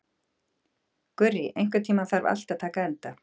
Gurrý, einhvern tímann þarf allt að taka enda.